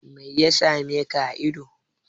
Meya same ka a ido?